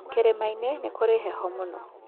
Kĩrĩma-inĩ nĩ kũrĩ heho mũno.